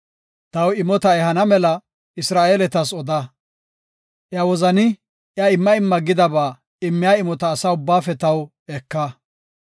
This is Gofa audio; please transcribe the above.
“Taw imota ehana mela Isra7eeletas oda. Iya wozani iya imma imma gidaba immiya imota asa ubbaafe taw eka.